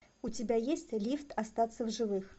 у тебя есть лифт остаться в живых